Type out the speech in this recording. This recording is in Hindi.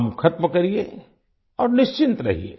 काम खत्म करिए और निश्चिंत रहिए